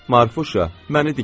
Marfuşa, məni dikəlt.